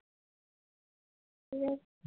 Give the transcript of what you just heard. হম